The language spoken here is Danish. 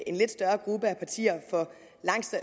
en lidt større gruppe af partier for